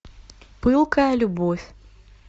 пылкая любовь